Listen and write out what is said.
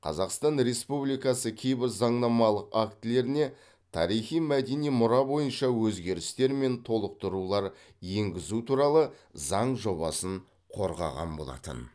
қазақстан республикасы кейбір заңнамалық актілеріне тарихи мәдени мұра бойынша өзгерістер мен толықтырулар енгізу туралы заң жобасын қорғаған болатын